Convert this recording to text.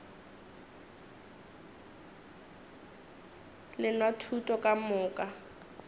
le nwa thuto ka moka